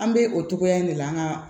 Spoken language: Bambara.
An bɛ o cogoya in de la nka